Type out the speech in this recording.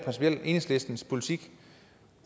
enhedslistens politik